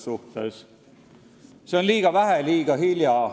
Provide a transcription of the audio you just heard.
See on "liiga vähe ja liiga hilja".